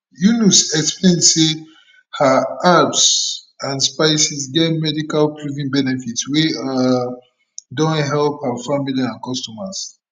yunus explain say her herbs and spices get medical proven benefits wey um don help her family and customers